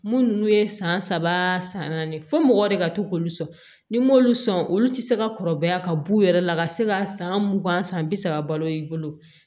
Mun ninnu ye san saba san naani fo mɔgɔ de ka to k'olu sɔn ni m'olu sɔn olu tɛ se ka kɔrɔbaya ka b'u yɛrɛ la ka se ka san mugan san bi saba balo i bolo